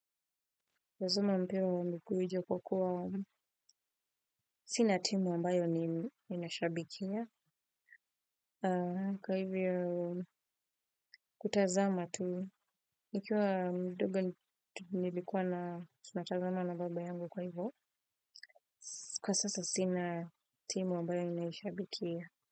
Wazuma mpio wambiku wijo kwa kuwa sinatimu wambayo ni inashabikia. Kwa hivyo, kutazama tu, nikiwa mdogo nivikuwa na sinatazama na baba yangu kwa hivyo, kwa sasa sinatimu wambayo inashabikia.